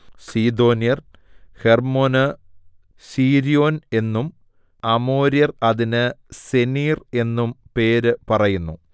സീദോന്യർ ഹെർമ്മോന് സീര്യോൻ എന്നും അമോര്യർ അതിന് സെനീർ എന്നും പേര് പറയുന്നു